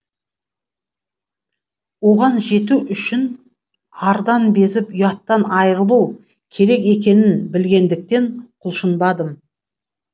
оған жету үшін ардан безіп ұяттан айырылу керек екенін білгендіктен құлшынбадым